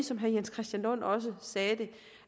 som herre jens christian lund også sagde